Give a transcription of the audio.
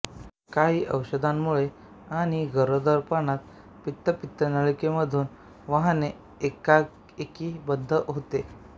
काहीं औषधांमुळे आणि गरोदरपणात पित्त पित्तनलिकेमधून वाहणे एकाएकी बंद होते